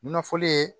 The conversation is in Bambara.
Nafolo ye